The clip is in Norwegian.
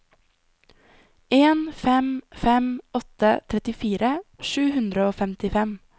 en fem fem åtte trettifire sju hundre og femtifem